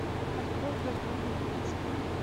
открой вагина убийца